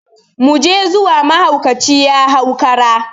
Mu je zuwa, mahaukaci ya hau kura!